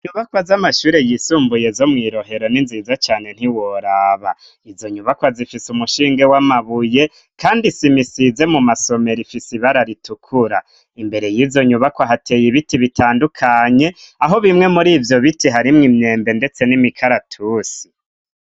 Inyubakwa z'amashure yisumbuye zo mw'i Rohero ni nziza cane ntiworaba. Izo nyubakwa zifise umushinge w'amabuye, kandi isima isize mu masomero ifise ibara ritukura. Imbere y'izo nyubakwa hateye ibiti bitandukanye, aho bimwe muri ivyo biti harimwo imyembe ndetse n'imikaratusi.